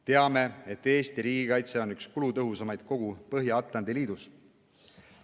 Teame, et Eesti riigikaitse on üks kulutõhusamaid kogu Põhja-Atlandi liidus.